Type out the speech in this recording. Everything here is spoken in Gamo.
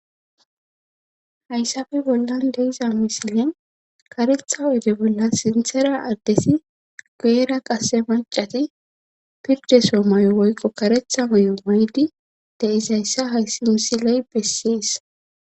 hayssafe bollan deiza misilen karetha oyde bolla sinthera addesi geera qase macati pirde soo mayo woykqo karetha may7o maydi deizayssa hayssi misiley bessees